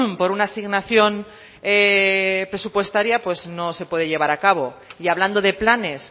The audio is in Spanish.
por una asignación presupuestaria pues no se puede llevar a cabo y hablando de planes